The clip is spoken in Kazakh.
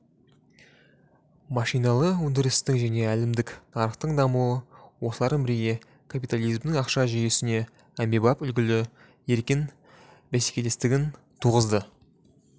машиналы өндірістің және әлімдік нарықтың дамуы осылармен бірге капитализмнің ақша жүйесінде әмбебап үлгілі еркін бәсекелестігін туғызды